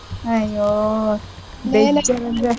ಅಯ್ಯೋ ಬೇಜಾರ್ ಅಂದ್ರೆ.